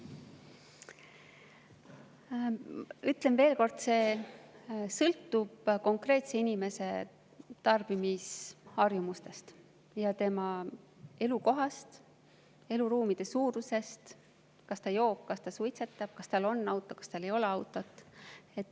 Ütlen veel kord, et see sõltub konkreetse inimese tarbimisharjumustest ja tema elukohast, eluruumide suurusest, sellest, kas ta joob, kas ta suitsetab, kas tal on auto või tal ei ole autot.